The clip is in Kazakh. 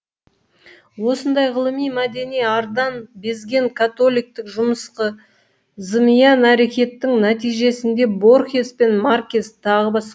осындай ғылыми мәдени ардан безген католиктік жымысқы зымиян әрекеттің нәтижесінде борхес пен маркес т б